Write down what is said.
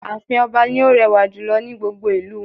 Ààfin ọba ni ó rẹwà jùlọ ní gbogbo ìlú wọn